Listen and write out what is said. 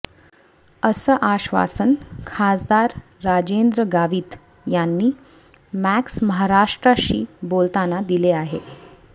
असं आश्वासन खासदार राजेंद्र गावित यांनी मॅक्समहाराष्ट्रशी बोलताना दिले आहे